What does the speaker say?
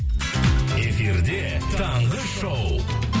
эфирде таңғы шоу